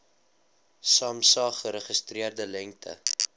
samsa geregistreerde lengte